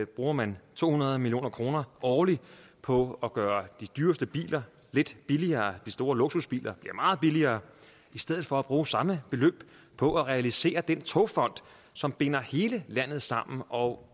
bruger man to hundrede million kroner årligt på at gøre de dyreste biler lidt billigere de store luksusbiler bliver meget billigere i stedet for at bruge samme beløb på at realisere den togfond som binder hele landet sammen og